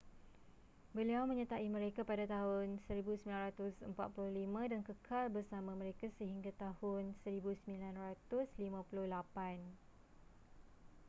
beliau menyertai mereka pada tahun 1945 dan kekal bersama mereka sehingga tahun 1958